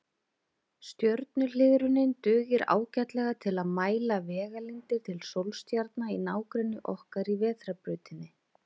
Stjörnuhliðrunin dugir ágætlega til að mæla vegalengdir til sólstjarna í nágrenni okkar í Vetrarbrautinni.